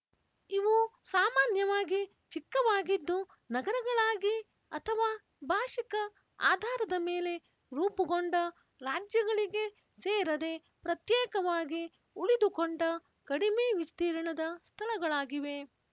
ಇವು ಸಾಮಾನ್ಯವಾಗಿ ಚಿಕ್ಕವಾಗಿದ್ದು ನಗರಗಳಾಗಿ ಅಥವಾ ಭಾಶಿಕ ಆಧಾರದ ಮೇಲೆ ರೂಪುಗೊಂಡ ರಾಜ್ಯಗಳಿಗೆ ಸೇರದೆ ಪ್ರತ್ಯೇಕವಾಗಿ ಉಳಿದುಕೊಂಡ ಕಡಮೆ ವಿಸ್ತೀರ್ಣದ ಸ್ಥಳಗಳಾಗಿವೆ